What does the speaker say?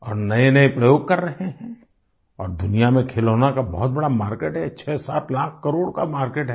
और नएनए प्रयोग कर रहे हैं और दुनिया में खिलौनों का बहुत बड़ा मार्केट है 67 लाख करोड़ का मार्केट है